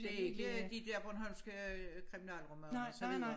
Det ikke de dér bornholmske kriminalromaner og så videre